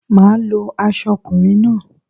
Máà lo aso okùnrin náà